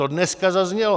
To dneska zaznělo.